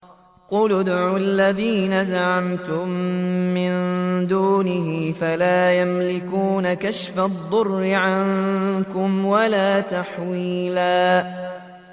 قُلِ ادْعُوا الَّذِينَ زَعَمْتُم مِّن دُونِهِ فَلَا يَمْلِكُونَ كَشْفَ الضُّرِّ عَنكُمْ وَلَا تَحْوِيلًا